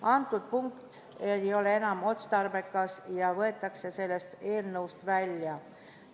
" Antud punkt ei ole enam otstarbekas ja võetakse sellest eelnõust välja.